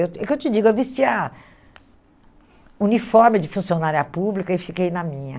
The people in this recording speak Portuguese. É é o que eu te digo, eu vestia uniforme de funcionária pública e fiquei na minha.